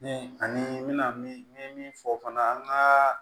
Ni ani n mɛna min fɔ fana an ka